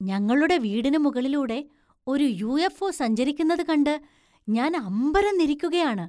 ഞങ്ങളുടെ വീടിനു മുകളിലൂടെ ഒരു യു. എഫ്. ഒ സഞ്ചരിക്കുന്നത് കണ്ട് ഞാൻ അമ്പരന്നിരിക്കുകയാണ്.